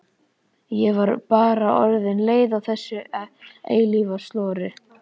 Ég var bara orðin leið á þessu eilífa slori.